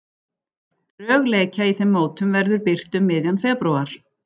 Drög leikja í þeim mótum verður birt um miðjan febrúar.